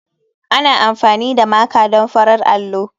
Ana amfani da Maker don farar allo.